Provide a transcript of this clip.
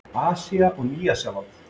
Asía og Nýja-Sjáland